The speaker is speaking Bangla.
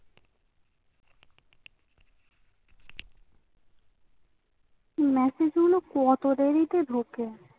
message মনে হয় কতো দেরিতে ঢুকে